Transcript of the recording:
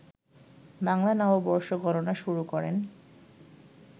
বাংলা নববর্ষ গণনা শুরু করেন